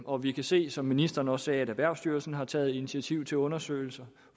og vi kan se som ministeren også sagde at erhvervsstyrelsen har taget initiativ til undersøgelser